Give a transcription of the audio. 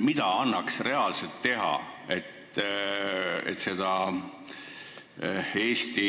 Mida annaks reaalselt teha, et seda eesti